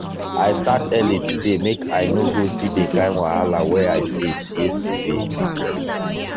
i start early today make i no go see the kind wahala wey i face yesterday.